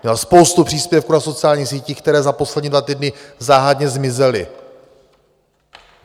Měl spoustu příspěvků na sociálních sítích, které za poslední dva týdny záhadně zmizely.